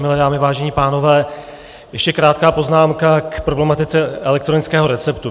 Milé dámy, vážení pánové, ještě krátká poznámka k problematice elektronického receptu.